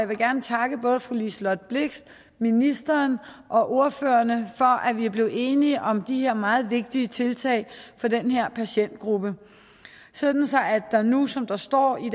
vil gerne takke både fru liselott blixt ministeren og ordførerne for at vi er blevet enige om de her meget vigtige tiltag for den her patientgruppe sådan at der nu som der står i